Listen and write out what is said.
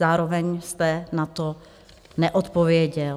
Zároveň jste na to neodpověděl.